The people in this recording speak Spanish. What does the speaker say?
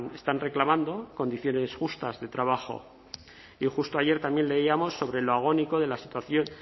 están reclamando condiciones justas de trabajo y justo ayer también leíamos sobre lo agónico de la situación